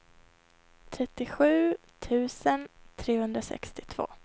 trettiosju tusen trehundrasextiotvå